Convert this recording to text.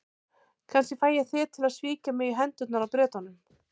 Kannski fæ ég þig til að svíkja mig í hendurnar á Bretunum.